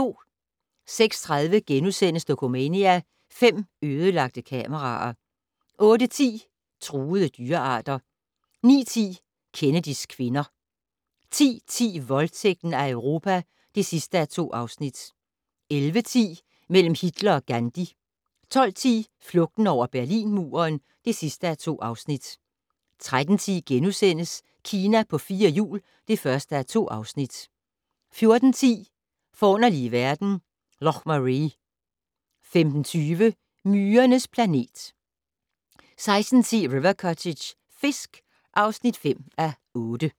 06:30: Dokumania: Fem ødelagte kameraer * 08:10: Truede dyrearter 09:10: Kennedys kvinder 10:10: Voldtægten af Europa (2:2) 11:10: Mellem Hitler og Gandhi 12:10: Flugten over Berlinmuren (2:2) 13:10: Kina på fire hjul (1:2)* 14:10: Forunderlige verden - Loch Maree 15:20: Myrernes planet 16:10: River Cottage - fisk (5:8)